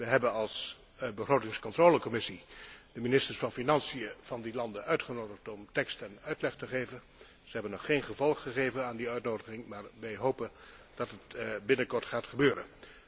We hebben als Commissie begrotingscontrole de ministers van Financiën van die landen uitgenodigd om tekst en uitleg te geven. Ze hebben nog geen gevolg gegeven aan die uitnodiging, maar wij hopen dat het binnenkort gaat gebeuren.